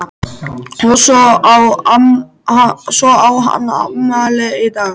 Og svo á hann afmæli í dag.